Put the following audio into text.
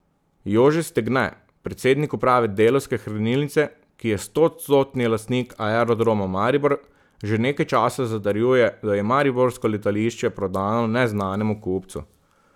Jože Stegne, predsednik uprave Delavske hranilnice, ki je stoodstotni lastnik Aerodroma Maribor, že nekaj časa zatrjuje, da je mariborsko letališče prodano neznanemu kupcu.